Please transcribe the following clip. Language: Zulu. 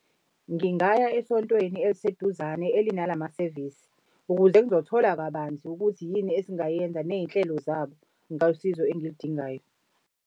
Ngingaya esontweni eliseduzane elinalamasevisi, ukuze ngizothola kabanzi ukuthi yini esingayenza ney'nhlelo zabo ngosizo engilidingayo.